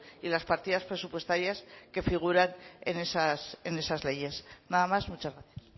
y las partidas presupuestarias que figuran en esas leyes nada más muchas gracias